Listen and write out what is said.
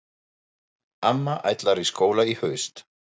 Amma ætlar í skóla í haust.